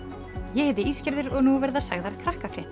ég heiti og nú verða sagðar